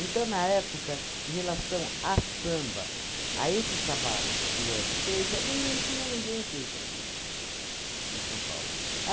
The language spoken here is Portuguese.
na época, em relação à samba, a esse trabalho que o Hélio fez, era não não tinha ninguém feito aqui, em São Paulo.